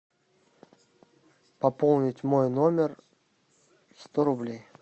пополнить мой номер сто рублей